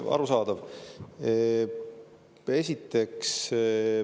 Arusaadav!